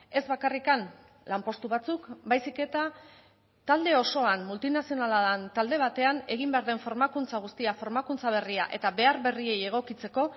ez bakarrik lanpostu batzuk baizik eta talde osoan multinazionala den talde batean egin behar den formakuntza guztia formakuntza berria eta behar berriei egokitzeko